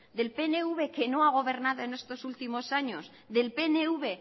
del pnv que no ha gobernado en estos últimos años del pnv